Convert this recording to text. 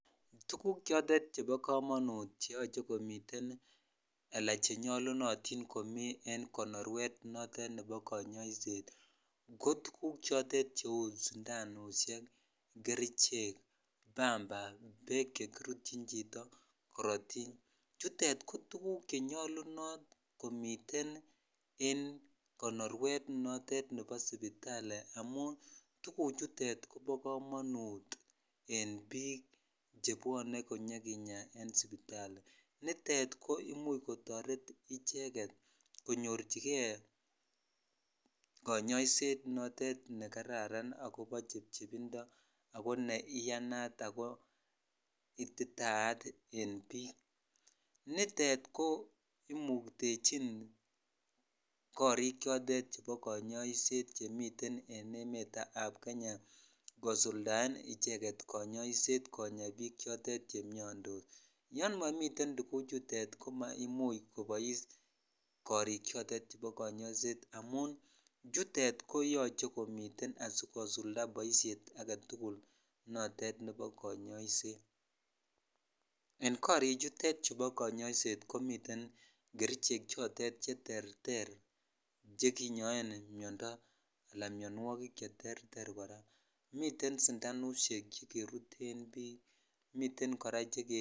Tukuk choton chebo komonut keyoche komiten ala chenyolunotin komi en konorwek noton nebo konyoiset ko tuguk chotet kou sundanusiek, kerichek, pamba, beek chekirutchin chito, korotik, chutet ko tuguk konyolunot komiten en konorwet noton nebo sipitali amun tuguk chutet koba komanut en biik chebwone konyokinya en sipitali, nitet koimuch kotoret icheget konyorchigen konyoiset noton nekararan ako bo chebchebindo ako ne iyanat ako ne ititaat en biik, nitet ko imuktechin koriik chotet chebo konyoiset chemiten en emet ab Kenya kosuldaen icheget konyoiset konya biik chotet chemiondos, yomimiten chuguk chutet komaimuch kobois korik chotet chebo konyoiset amun chutet koyoche komiten asikosulda boisiet agetugul notet nebo konyoiset, en korichutet chebo konyoiset komiten kerichek chotet cheterter chekinyoen miondo ala mionwogik cheterter kora, miten sindanusiek chekeruten biik.